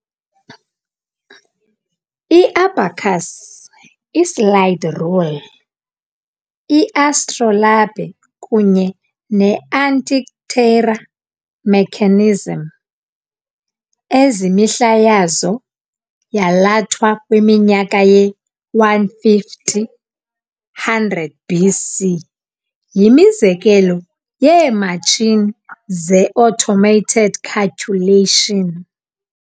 I-abacus, i-slide rule, i-astrolabe kunye ne-Antikythera mechanism, ezimihla yazo yalathwa kwiminyaka ye-150-100 BC, yimizekelo yeematshini ze-automated calculation.